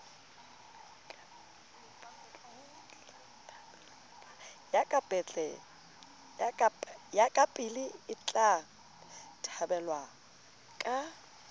ya kapele etla thabelwa ka